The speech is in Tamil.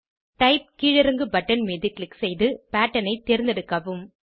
டைப் கீழீறங்கு பட்டன் மீது க்ளிக் செய்து பேட்டர்ன் ஐ தேர்ந்தெடுக்கவும்